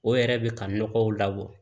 O yɛrɛ bɛ ka nɔgɔw labɔ